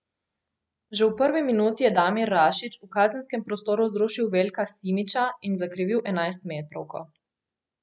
Že v prvi minuti je Damir Rašić v kazenskem prostoru zrušil Veljka Simića in zakrivil enajstmetrovko.